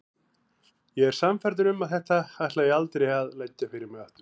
Ég er sannfærður um að þetta ætla ég aldrei að leggja fyrir mig aftur.